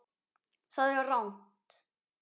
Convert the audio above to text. Það er rangt.